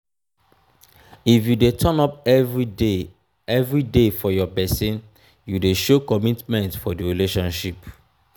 if you de turn up everyday everyday for your persin you de show commitment for di relationship